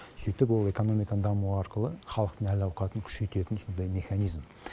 сөйтіп ол экономиканың дамуы арқылы халықтың әл ауқатын күшейтетін сондай механизм